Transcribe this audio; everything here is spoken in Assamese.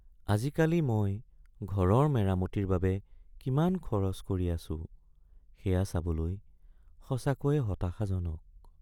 আজিকালি মই ঘৰৰ মেৰামতিৰ বাবে কিমান খৰচ কৰি আছো সেয়া চাবলৈ সঁচাকৈয়ে হতাশাজনক।